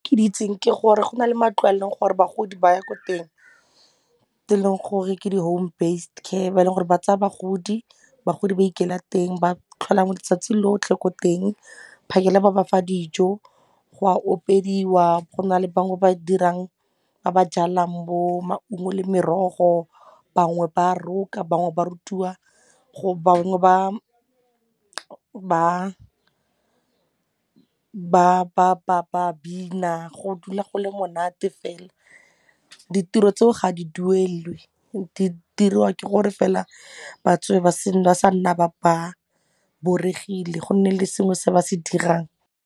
Ke di itseng ke gore go na le matlo a e leng gore bagodi ba ya ko teng tse e leng gore ke di home besed care ba e leng gore ba tsaya bagodi, bagodi ba ikela teng ba tlhola mo letsatsi lotlhe ko teng phakela ba ba fa dijo go a opediwa go na le bangwe ba dirang ba ba jalang bo maungo le merogo bangwe ba roka bangwe ba rutiwa go bangwe ba bina go dula go le monate fela ditiro tseo ga di duelelwe di diriwa ke gore fela batsofe ba sa nna ba boregile go nne le sengwe se ba se dirang.